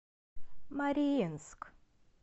мариинск